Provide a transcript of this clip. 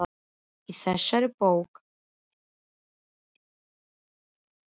Í þessari bók er mynd af þér.